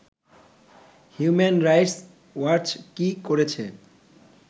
human rights watch কী করেছে